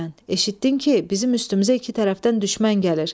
Eşitdin ki, bizim üstümüzə iki tərəfdən düşmən gəlir.